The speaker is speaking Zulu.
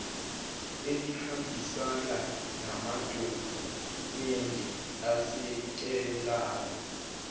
elihambisana namadokhumende asekelayo